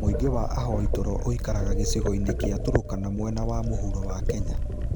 Mũingĩ wa avoi toro ũikaraga gĩcigo-inĩ kĩa Turkana mwena wa mũhuro wa Kenya.